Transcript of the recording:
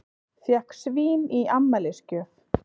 Fékk svín í afmælisgjöf